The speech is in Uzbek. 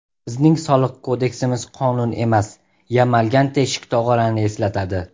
Bizning soliq kodeksimiz qonun emas, yamalgan teshik tog‘orani eslatadi.